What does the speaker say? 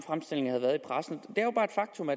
som